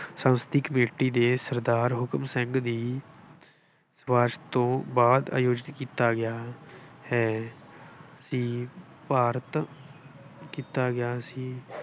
ਸੰਸਦੀ ਕਮੇਟੀ ਦੇ ਸਰਦਾਰ ਹੁਕਮ ਸਿੰਘ ਦੀ, ਸਿਫਾਰਿਸ਼ ਤੋਂ ਆਯੋਜਿਤ ਕੀਤਾ ਗਿਆ।